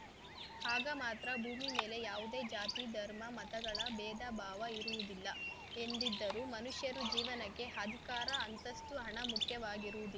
ಆಗ ಮಾತ್ರ ಭೂಮಿ ಮೇಲೆ ಯಾವುದೇ ಜಾತಿ ಧರ್ಮ ಮತಗಳ ಭೇದ ಭಾವ ಇರುವುದಿಲ್ಲ ಎಂದಿದ್ದರು ಮನುಷ್ಯ ಜೀವನಕ್ಕೆ ಅಧಿಕಾರ ಅಂತಸ್ತು ಹಣ ಮುಖ್ಯವಾಗೀರುವು